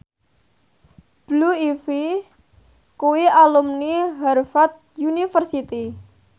Blue Ivy kuwi alumni Harvard university